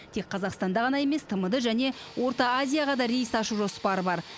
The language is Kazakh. тек қазақстанда ғана емес тмд және орта азияға да рейс ашу жоспары бар